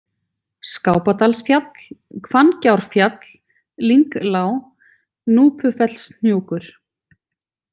Skápadalsfjall, Hvanngjárfjall, Lynglág, Núpufellshnjúkur